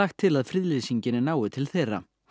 til að friðlýsingin nái til þeirra